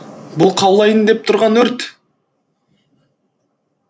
бұл қаулайын деп тұрған өрт